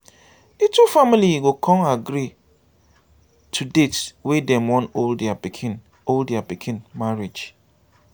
di two family go con agree to date wey dem wan hold dia pikin hold dia pikin marriage